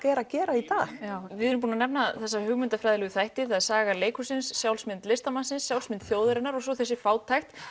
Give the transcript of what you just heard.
er að gera í dag já við erum búin að nefna þessa hugmyndafræðilegu þætti það er saga leikhússins sjálfsmynd listamannsins sjálfsmynd þjóðarinnar og svo þessi fátækt